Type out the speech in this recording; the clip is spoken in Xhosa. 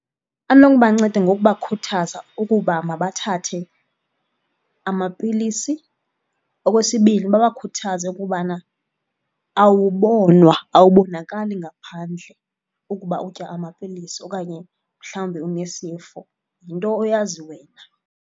Anokubanceda ngokubakhuthaza ukuba mabathathe amapilisi. Okwesibini, babakhuthaze ukubana awubonwa, awubonakali ngaphandle ukuba utya amapilisi okanye mhlawumbi unesifo, yinto oyazi wena.